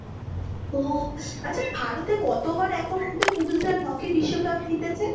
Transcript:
ও আচ্ছা ভারতে কতবার এখনো অবদি পুরুষদের হকি বিশ্বকাপ জিতেছে।